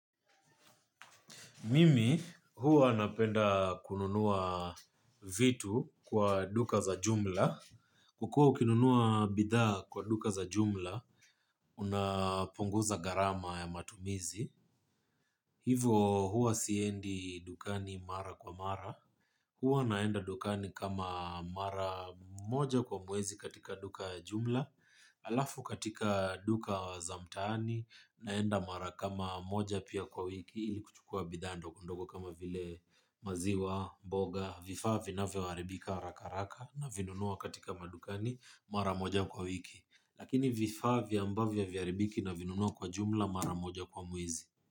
Mimi huwa napenda kununua vitu kwa duka za jumla ukiwa ukinunua bidhaa kwa duka za jumla, unapunguza gharama ya matumizi. Hivo, huwa siendi dukani mara kwa mara. Huwa naenda dukani kama mara moja kwa mwezi katika duka ya jumla alafu katika duka za mtaani, naenda mara kama moja pia kwa wiki, ili kuchukua bidhaa ndogodogo kama vile maziwa, boga, vifaa vinavyoharibika haraka haraka navinunua katika madukani maramoja kwa wiki. Lakini vifaa ambavyo haviaribiki navinunua kwa jumla maramoja kwa mwizi.